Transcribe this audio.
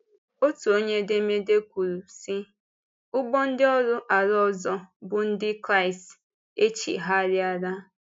Otu onye edemede kwuru, sị: “Ụgbọ ndị ọrụ ala ọzọ bụ́ Ndị Kraịst e chigharịala.”